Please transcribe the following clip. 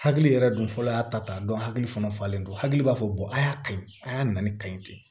Hakili yɛrɛ dun fɔlɔ y'a ta dɔn hakili fana falen don hakili b'a fɔ a y'a ka ɲi a y'a nali ka ɲi ten